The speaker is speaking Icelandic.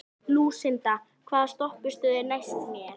Lúsinda, hvaða stoppistöð er næst mér?